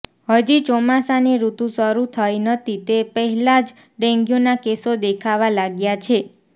હજી ચોમાસાની ઋતુ શરૂ થઈ નથી તે પહેલાં જ ડેન્ગ્યૂના કેસો દેખાવા લાગ્યા છે